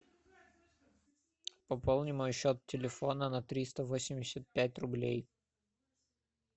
пополни мой счет телефона на триста восемьдесят пять рублей